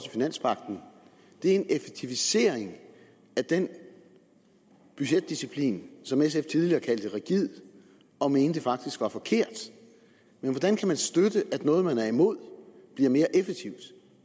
det er en effektivisering af den budgetdisciplin som sf tidligere kaldte rigid og mente faktisk var forkert men hvordan kan man støtte at noget man er imod bliver mere effektivt